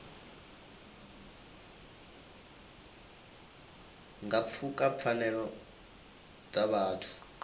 nga pfuka pfanelo dza vhuthu